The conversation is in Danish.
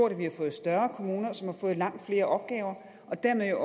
at vi har fået større kommuner som har fået langt flere opgaver dermed har